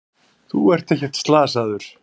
Þú ert ekkert slasaður.